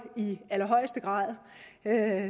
i allerhøjeste grad